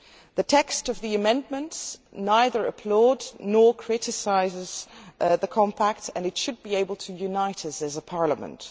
The text of the amendments neither applauds nor criticises the Compact and it should be capable of uniting us as a parliament.